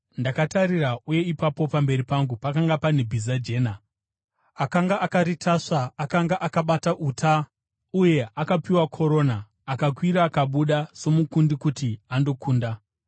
Ndakatarira, uye ipapo pamberi pangu pakanga pane bhiza jena! Akanga akaritasva akanga akabata uta, uye akapiwa korona, akakwira akabuda somukundi kuti andokunda.